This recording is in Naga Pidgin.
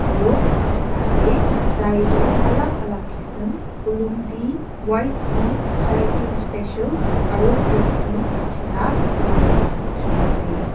Aro edu dukan tae chai toh alak alak kisam olong tea white tea chai chun special aro black tea nishina bikiri kura dikhiase.